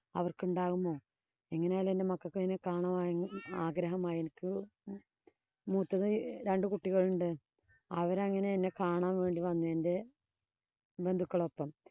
അവര്‍ക്കുണ്ടാകുമോ. എങ്ങനെയായാലും എന്‍റെ മക്കക്ക്‌ എന്നെ കാണുവാന്‍ ആഗ്രഹമായി. എനിക്ക് മൂത്തത് രണ്ടു കുട്ടികളുണ്ട്. അവരങ്ങനെ എന്നെ കാണാന്‍ വന്നു എന്‍റെ ബന്ധുക്കളൊപ്പം